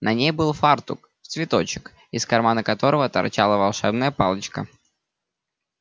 на ней был фартук в цветочек из кармана которого торчала волшебная палочка